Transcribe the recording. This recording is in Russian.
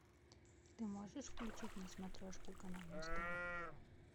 ты можешь включить на смотрешке канал муз тв